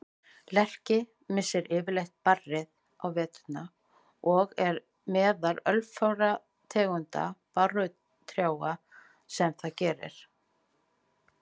Lerki missir yfirleitt barrið á veturna og er meðal örfárra tegunda barrtrjáa sem það gerir.